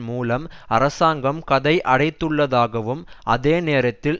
மூலம் அரசாங்கம் கதவை அடைத்துள்ளதாகவும் அதே நேரத்தில்